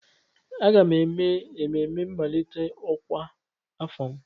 Aga m eme mmemme mmalite ọkwa afọ m.